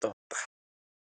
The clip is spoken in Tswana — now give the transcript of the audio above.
tota.